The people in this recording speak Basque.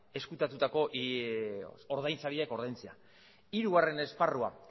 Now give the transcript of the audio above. ezkutatutako ordainsariak ordaintzea hirugarren esparrua